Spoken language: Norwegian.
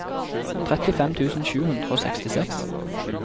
trettifem tusen sju hundre og sekstiseks